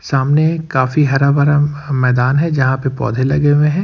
सामने काफी हरा भरा मैदान है जहां पे पौधे लगे हुए हैं।